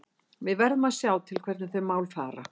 Við verðum að sjá til hvernig þau mál fara.